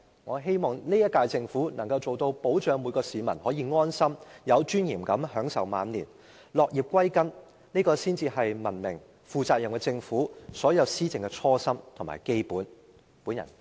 我希望現屆政府能夠提供保障，令每位市民可以安心，並且有尊嚴地享受晚年，落葉歸根，這才是文明和負責任的政府的所有施政應抱持的初心和基本態度。